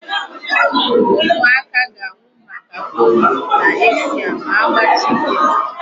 Ụmụaka ga-anwụ maka polio n'Asia ma agbachị nkịtị.